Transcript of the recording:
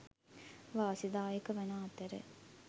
වාසිදායක වන අතර